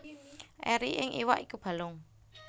Eri ing iwak iku balung